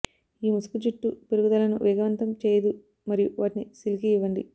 ఈ ముసుగు జుట్టు పెరుగుదలను వేగవంతం చేయదు మరియు వాటిని సిల్కీ ఇవ్వండి